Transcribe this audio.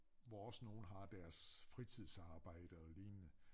Hvor også nogle har deres fritidsarbejde og lignende